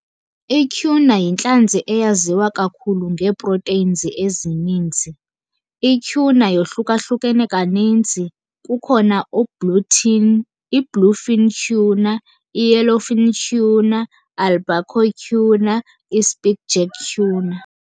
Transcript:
I-tuna yintlanzi eyaziwa kakhulu ngee-proteins ezininzi. I-tuna yohlukahlukene kaninzi, kukhona i-bluefin tuna, i- yelllowfin tuna, albacore tuna, i-skipjack tuna.